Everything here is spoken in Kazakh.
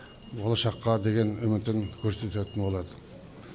болашаққа деген үмітін көрсететін болады